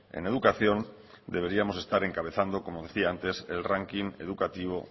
en educación deberíamos estar encabezando como decía antes el ranking educativo